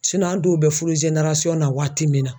an dɔw bɛ fudub na waati min na.